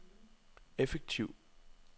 effektiv